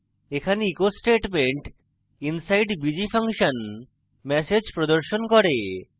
এখানে echo statement inside bg _ function message প্রদর্শন করে